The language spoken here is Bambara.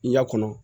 I y'a kɔnɔ